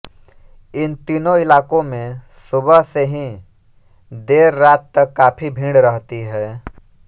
इन तीनों इलाकों में सुबह से ही देर रात तक काफी भीड़ रहती है